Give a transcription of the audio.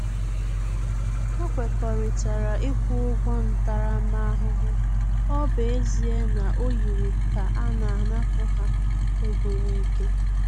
Ha kwekọrịtara ịkwụ ụgwọ ntaramahụhụ, ọ bụ ezie na ọ yiri ka a na-anapu ha ego n'ike